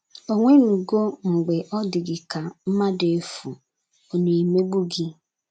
Onwenugo, mgbe ọ dị gị ka, mmadụ efu, ọ̀ na - emegbu gị?